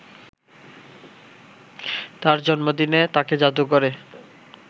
তাঁর জন্মদিনে তাঁকে জাদুঘরে